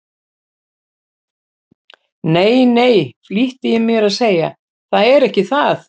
Nei, nei, flýtti ég mér að segja, það er ekki það.